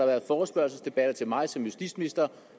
været forespørgselsdebatter til mig som justitsminister